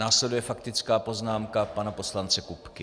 Následuje faktická poznámka pana poslance Kupky.